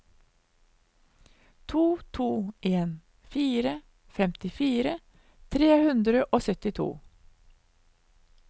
to to en fire femtifire tre hundre og syttito